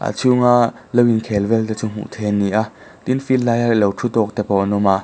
a chhunga lo inkhel vel te chu hmuh theih ani ni a tin field lai a lo ṭhu tawk te pawh an awm a.